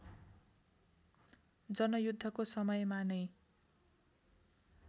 जनयुद्धको समयमा नै